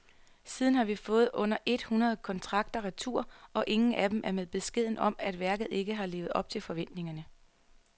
Siden har vi fået under et hundrede kontrakter retur, og ingen af dem er med beskeden om, at værket ikke har levet op til forventningerne.